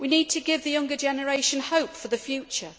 We need to give the younger generation hope for the future.